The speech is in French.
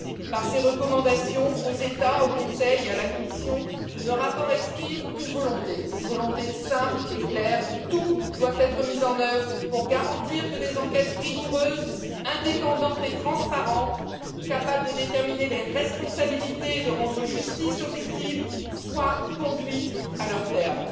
Par ses recommandations aux États, au Conseil et à la Commission, le rapport exprime une volonté simple et claire tout doit être mis en œuvre pour garantir que des enquêtes rigoureuses, indépendantes et transparentes, capables de déterminer les responsabilités, de rendre justice aux victimes, soient conduites à leur terme.